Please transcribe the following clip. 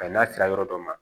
n'a sera yɔrɔ dɔ ma